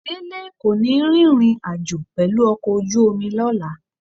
Délé kò ní rìnrìn àjò pẹ̀lú ọkọ̀ ojú omi lọ́la